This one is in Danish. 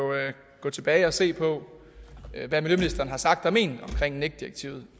gå tilbage og se på hvad miljøministeren har sagt og ment omkring nec direktivet